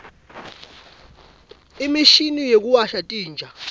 imishini yekuwasha titja